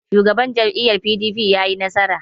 Shugaban jam'iyyar PDP ya yi nasara?